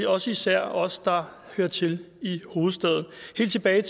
også især os der hører til i hovedstaden helt tilbage